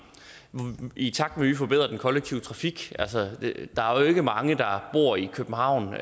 i takt med at vi forbedrer den kollektive trafik altså der er jo ikke mange der bor i københavn